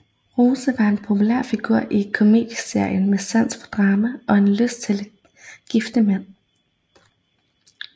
Rose var en populær figur i komedieserien med sans for drama og en lyst til gifte mænd